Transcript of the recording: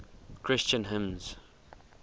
christian hymns